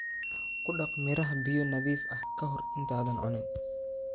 Ku dhaq miraha biyo nadiif ah ka hor intaadan cunin.